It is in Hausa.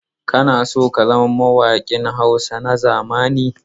Kana so ka zama mawaƙin Hausa na zamani?